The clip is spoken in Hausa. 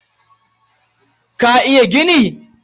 Ka iya gini?